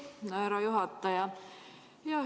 Aitäh, härra juhataja!